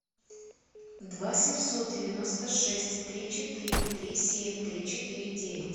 два семьсот девяносто шесть три четыре три семь три четыре девять